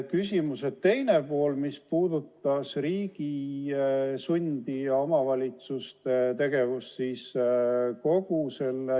Küsimuse teine pool puudutas riigi sundi ja omavalitsuste tegevust.